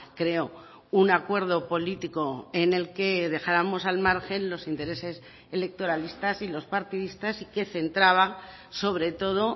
creo un acuerdo político en el que dejáramos al margen los intereses electoralistas y los partidistas y que centraba sobre todo